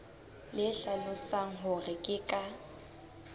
le hlalosang hore ke ka